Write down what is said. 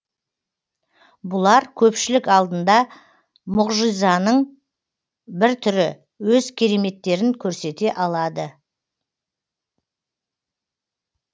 бұлар көпшілік алдында мұғжизаның бір түрі өз кереметтерін көрсете алады